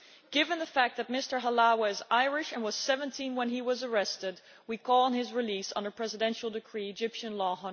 Given the fact that Mr Halawa is Irish and was 17 when he was arrested, we call for his release by presidential decree under Egyptian Law